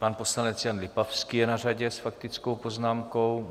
Pan poslanec Jan Lipavský je na řadě s faktickou poznámkou.